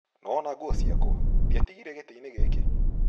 Nĩ wona nguo ciakwa? Ndĩatigire gĩtĩ-inĩ gĩkĩ?